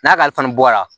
N'a kalifanin bɔra